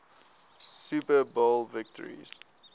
super bowl victories